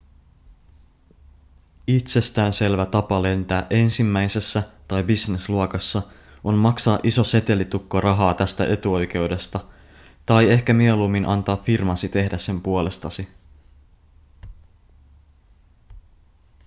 itsestään selvä tapa lentää ensimmäisessä tai business-luokassa on maksaa iso setelitukko rahaa tästä etuoikeudesta tai ehkä mieluummin antaa firmasi tehdä sen puolestasi